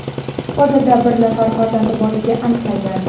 hozirda bir nafar farzandi borligi aniqlangan.